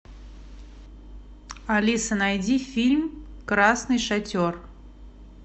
алиса найди фильм красный шатер